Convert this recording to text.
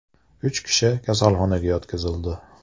Uch kishi kasalxonaga yotqizildi.